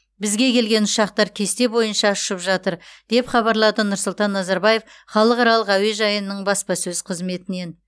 бізге келген ұшақтар кесте бойынша ұшып жатыр деп хабарлады нұрсұлтан назарбаев халықаралық әуежайының баспасөз қызметінен